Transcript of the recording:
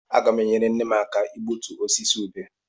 Aga m enyere nne m aka igbutu osisi ubé.